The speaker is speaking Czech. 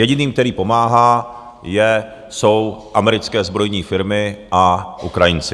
Jediným, kterým pomáhá, jsou americké zbrojní firmy a Ukrajinci.